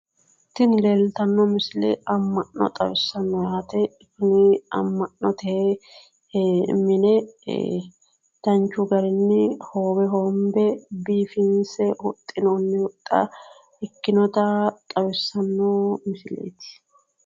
Tini leeltanno misile amma'no xawissanno yaate tini amma'note mine danchu garinni hoowe hoonbe biifinse huxxinoonni huxxa ikkinota xawissanno misileeti